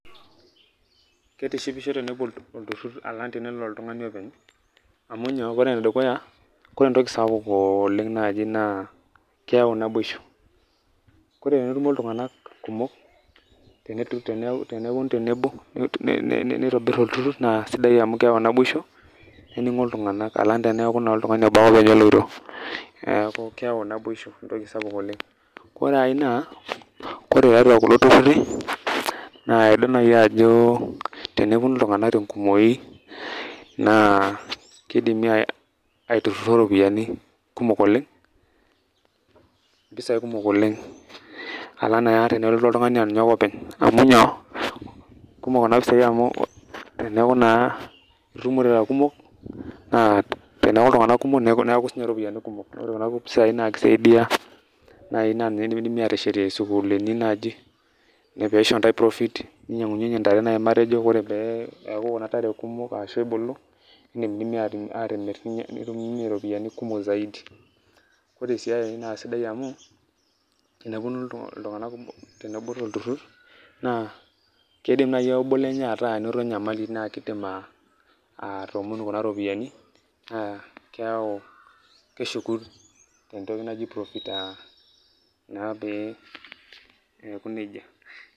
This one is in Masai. Keitishipisho tenelo olturur alang tenelo oltungani openy amu nyoo? Amu ore enedukuya ore entoki sapuk oleng naaji naa keyau naboisho. Ore tenetumo iltunganak kumok tenepuonu tenebo neitobir olturur naa sidai amu keyau naboisho neningo iltunganak alang teneeku oltungani obo ake openy oloito. Neeku keyau naboisho entoki sapuk oleng ore ae naa ore tiatua kulo tururi naa idol naaji ajo tenepuonu iltunganak tenkumoinaa keidimi aitirruro iropiani kumok oleng, impisai kumok oleng alang naa tenelotu oltungani aa ninye ake openy amu nyoo? kumok Kuna pisai amu teneeku naa itumomo irara kumok naa teneeku iltunganak kumok neeku sii ninche iropiani kumok ore Kuna pisai naa keisaidia amu idimidimi aateshetie isukuulini naaji ore pee isho ntae profit ninyiangunyinyie intare duo naaji matejo ore pee eeku Kuna tare kumok ashuu ebulu nodimidimi aatimir nitumiemie iropiani kumok zaidi ore sii ae naa sidai amu tebul olturur naa keidim naaji ake obo lenye ataasa enoto enyamali naa keidim atoomonu kuna ropiani naa keeku keshuku tentoki naji profit naa pee eeku nejia.